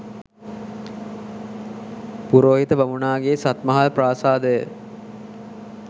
පුරෝහිත බමුණාගේ සත්මහල් ප්‍රාසාදය